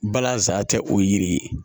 Balansa tɛ o ye yiri ye